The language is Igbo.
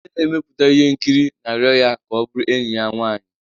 Onye na-emepụta ihe nkiri na-arịọ ya ka ọ bụrụ enyi ya nwanyị.